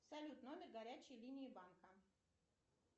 салют номер горячей линии банка